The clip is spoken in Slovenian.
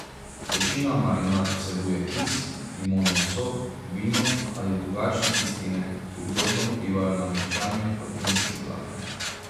Večina marinad vsebuje kis, limonov sok, vino ali drugačne kisline, ki ugodno vplivajo na mehčanje proteinskih vlaken.